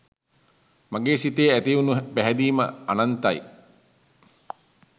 මගේ සිතේ ඇති වුන පැහැදීම අනන්තයි.